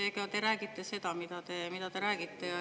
Noh, eks te räägite seda, mida te räägite.